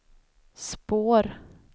spår